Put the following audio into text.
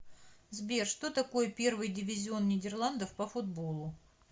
сбер что такое первый дивизион нидерландов по футболу